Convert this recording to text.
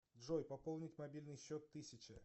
джой пополнить мобильный счет тысяча